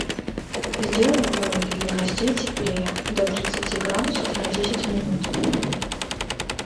сделай в домике для гостей теплее до тридцати градусов на десять минут